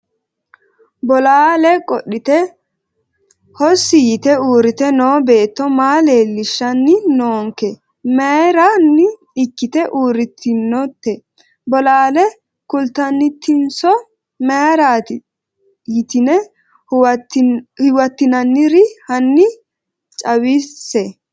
Bolaale qodhite hossi yite uurite noo beto maa lelishani noonke mayirani ikite uuritinote bolaale kultanitinsoo mayirati yitine huwatinaniri hani cawise?